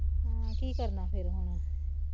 ਹਾਂ ਕਿ ਕਰਨਾ ਫਿਰ ਹੁਣ